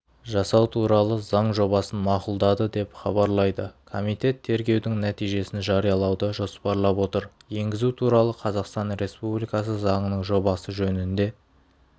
жасау туралы заң жобасын мақұлдады деп хабарлайды комитет тергеудің нәтижесін жариялауды жоспарлап отыр енгізу туралы қазақстан республикасы заңының жобасы жөнінде